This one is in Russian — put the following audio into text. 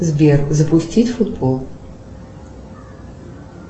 сбер запустить футбол